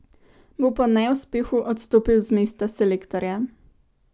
Bo po neuspehu odstopil z mesta selektorja?